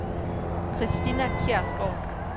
Kristina Kjærsgaard